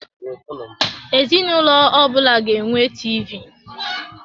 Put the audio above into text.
Ezinụlọ ọbụla ga enwe TV.